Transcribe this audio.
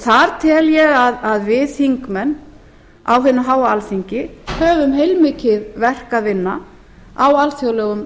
þar tel ég að við þingmenn á hinu háa alþingi höfum heilmikið verk að vinna á alþjóðlegum